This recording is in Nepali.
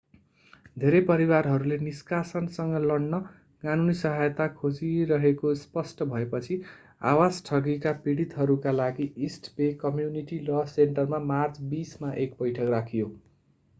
धेरै परिवारहरूले निष्कासनसँग लड्न कानूनी सहायता खोजिरहेको स्पष्ट भएपछि आवास ठगीका पीडितहरूका लागि इस्ट बे कम्युनिटी ल सेन्टरमा मार्च 20 मा एक बैठक राखियो